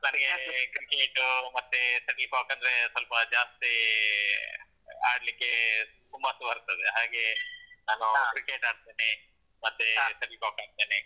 ನನಿಗೆ cricket ಮತ್ತೆ shuttlecock ಅಂದ್ರೆ ಸೊಲ್ಪ ಜಾಸ್ತಿ ಆಡ್ಲಿಕ್ಕೆ ಹುಮ್ಮಸ್ಸು ಬರ್ತದೆ ಹಾಗೆ ನಾನು cricket ಆಡ್ತೀನಿ. ಮತ್ತೆ shuttlecock ಆಡ್ತೀನಿ.